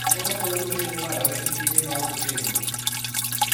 Ang'o makelo lwete mabarore gi tiende maok otegno?